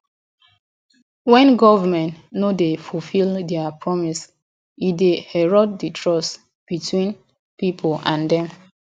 when government no dey fulfill dia promises e dey erode di trust between di people and dem